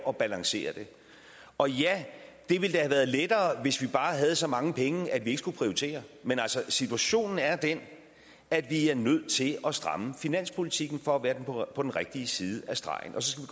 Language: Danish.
at balancere det og ja det ville da have været lettere hvis vi bare havde så mange penge at vi ikke skulle prioritere men altså situationen er den at vi er nødt til at stramme finanspolitikken for at være på den rigtige side af stregen og så